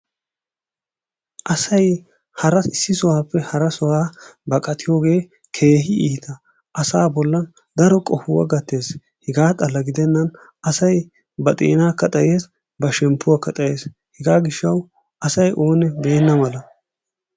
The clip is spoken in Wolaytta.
Asay hara issi sohuwaappe hara sohuwa baqattiyogee keehi iita asa bollan daro qohuwa gatees, hegaa xala gidenan asay ba xeenaakka xayees ba shempuwakka xayees. Hegaa giishshawu asay oonne beena mala.